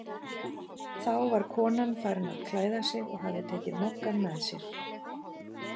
Þá var konan farin að klæða sig og hafði tekið Moggann með sér.